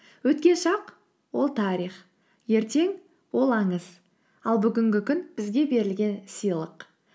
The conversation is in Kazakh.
өткен шақ ол тарих ертең ол аңыз ал бүгінгі күн бізге берілген сыйлық